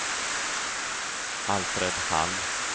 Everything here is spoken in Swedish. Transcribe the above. Alfred Hall